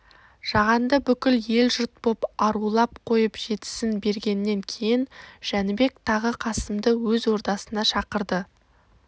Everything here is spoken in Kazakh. жағанды бүкіл ел-жұрт боп арулап қойып жетісін бергеннен кейін жәнібек тағы қасымды өз ордасына шақырды